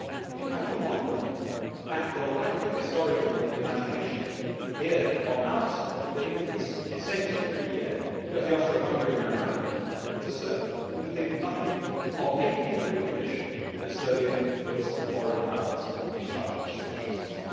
I do have to wonder, though, at the lack of historical imagination here on our side that, in this centenary year of the Austro Hungarian Memorandum to Serbia, we think nothing of making it a precondition that Serbia puts foreign powers in charge of its judicial system.